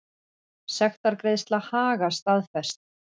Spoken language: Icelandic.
Sektargreiðsla Haga staðfest